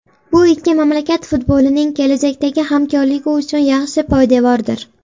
Bu ikki mamlakat futbolining kelajakdagi hamkorligi uchun yaxshi poydevordir.